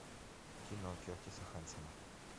кино кертиса хэнсона